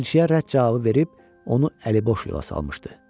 Elçiyə rədd cavabı verib onu əliboş yola salmışdı.